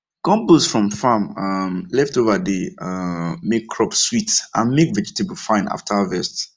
compost from farm um leftover dey um make crops sweet and make vegetable fine after harvest